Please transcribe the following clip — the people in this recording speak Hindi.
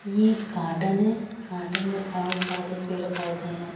ये एक गार्डन है गार्डन में बोहोत सारे पेड़ पोधे हैं।